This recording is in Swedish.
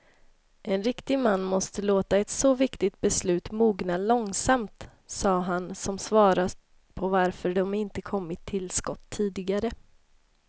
En riktig man måste låta ett så viktigt beslut mogna långsamt, sade han som svar på varför de inte kommit till skott tidigare.